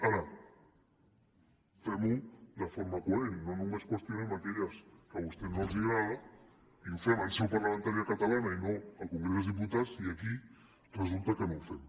ara fem ho de forma coherent no només qüestionem aquelles que a vostès no els agraden i ho fem en seu parlamentària catalana i no al congrés dels diputats i aquí resulta que no ho fem